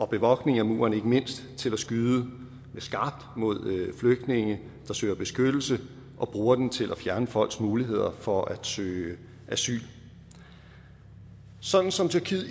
bevogtning af muren til at skyde med skarpt mod flygtninge der søger beskyttelse og bruger den til at fjerne folks muligheder for at søge asyl sådan som tyrkiet